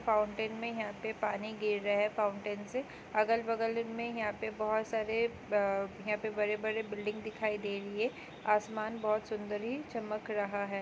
Fountain में यहाँ पानी गिर रहा हैं फाउंटेन से अगल बगल में यहाँ पे बहोत सारे अ ब बड़े बड़े बिल्डिंग दिखाई दे रही हैं आसमान बहुत सुंदरी चमक रहा हैं।